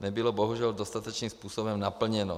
nebylo bohužel dostatečným způsobem naplněno.